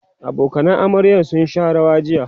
abokanan amaryar sun Sha rawa jiya